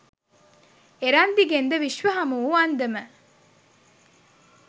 එරන්දිගෙන්ද විශ්ව හමුවූ අන්දම